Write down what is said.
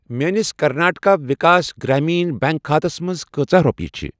میٲنِس کرناٹکا وِکاس گرٛایٖمن بٮ۪نٛک خاتس منٛز کٟژاہ رۄپیہِ چھےٚ؟